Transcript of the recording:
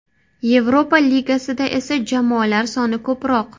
Yevropa Ligasida esa jamoalar soni ko‘proq.